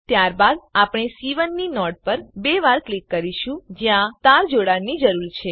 ત્યારબાદ આપણે સી1 ની નોડ પર બે વાર ક્લિક કરીશું જ્યાં તાર જોડવાની જરૂર છે